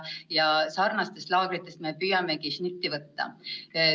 Nendest laagritest me püüamegi šnitti võtta.